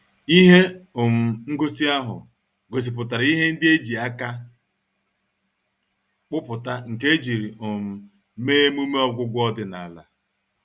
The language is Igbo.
Ihe um ngosi ahụ gosipụtara ihe ndị e ji aka kpụpụta nke ejiri um mee emume ọgwụgwọ ọdịnala.